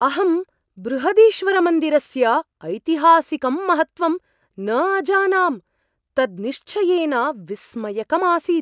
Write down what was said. अहं बृहदीश्वरमन्दिरस्य ऐतिहासिकं महत्त्वं न अजानां, तत् निश्चयेन विस्मयकम् आसीत्।